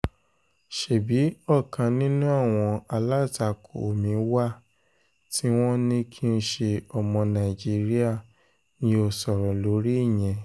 um ṣebí ọ̀kan nínú àwọn alátakò mi wà tí wọ́n ní kì í ṣe ọmọ nàìjíríà mi ò sọ̀rọ̀ lórí ìyẹn um